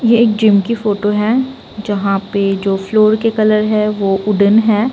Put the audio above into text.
ये एक जिम की फोटो है जहाँ पे जो फ्लोर के कलर है वो वुडेन है।